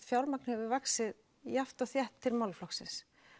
fjármagn hefur vaxið jafnt og þétt til málaflokksins